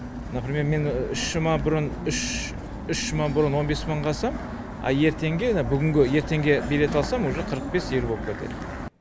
например мен үш жұма бұрын он бес мыңға алсам ал ертеңге мына бүгінгі ертеңге билет алсам уже қырық бес елу болып кетеді